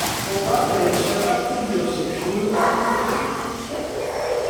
Kokakoesho katuyoishek chuun ngatutik chiik